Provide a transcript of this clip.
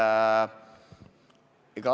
Ma vastan.